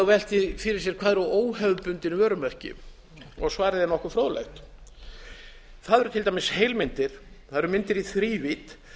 velt því fyrir sér hvað óhefðbundin vörumerki eru svarið er nokkuð fróðlegt það eru til dæmis heilmyndir myndir í þrívídd